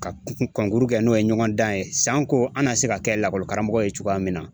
Ka kɛ n'o ye ɲɔgɔn dan ye sanko an na se ka kɛ lakɔli karamɔgɔ ye cogoya min na.